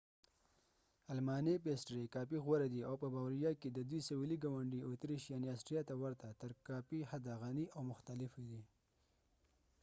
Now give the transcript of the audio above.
المانۍ پېسټرۍ کافي غوره دي او په باوېریا کې د دوی سوېلي ګاونډي اتریش یعني آسټریا ته ورته تر کافي حده غني او مختلفې دي